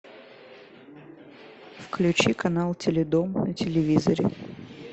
включи канал теледом на телевизоре